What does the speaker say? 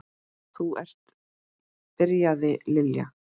Þú ert. byrjaði Lilla.